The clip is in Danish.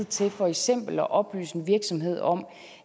til for eksempel at oplyse en virksomhed om